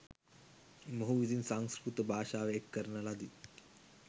මොහු විසින් සංකෘතභාෂාව එක්කරන ලදී.